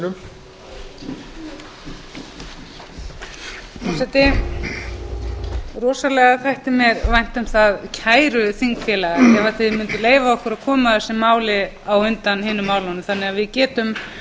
forseti rosalega þætti mér vænt um það kæru þingfélagar ef þið munduð leyfa okkur að koma þessu máli á undan hinum málunum þannig að við getum